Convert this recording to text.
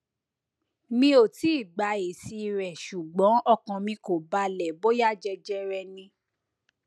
mi ò tíì gba èsì rẹ ṣùgbọn ọkàn mi kò balẹ bóyá jẹjẹrẹ ni